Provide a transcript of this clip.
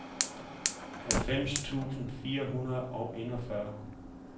halvfems tusind fire hundrede og enogfyrre